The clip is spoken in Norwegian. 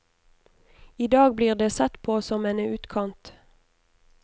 I dag blir det sett på som en utkant.